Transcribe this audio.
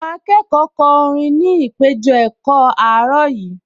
Àwọn akẹ́kọ̀ọ kọ orin ní ìpéjọ-ẹ̀kọ́ àárọ̀ yìí